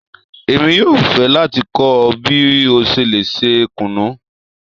Èmi yóò fẹ́ láti kọ́ ọ bí o ṣe lè se isi kùnú.